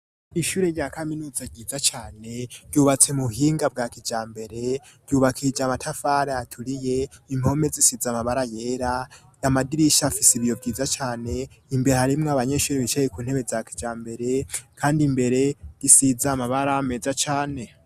Ishyure rya kaminuza ryiza cane ryubatse mu buhinga bwa kijambere ryubakije amatafari aturiye impome zisize amabara yera amadirisha afise ibiyo vyiza cane imbere harimwo abanyeshuri bicaye kuntebe za kijambere kandi imbere risize amabara meza cane.